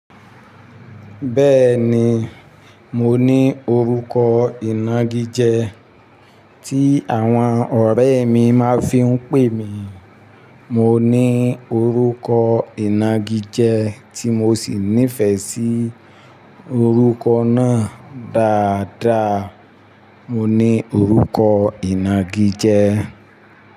Bẹ́ẹ̀ni, mo ní orúkọ ìnagijẹ tí àwọn ọ̀rẹ́ mi máa ń fi ń pè mí. Mo ní orúkọ ìnagijẹ tí mo sì nífẹ̀ẹ́ sí orúkọ náà dáadáa. Mo ní orúkọ ìnagijẹ.